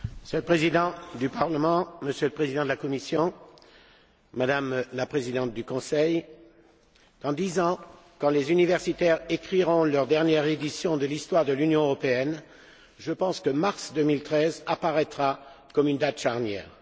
Monsieur le Président, Monsieur le Président de la Commission, Madame la Présidente du Conseil, dans dix ans, quand les universitaires écriront leur dernière édition de l'histoire de l'Union européenne, je pense que mars 2013 apparaîtra comme une date charnière.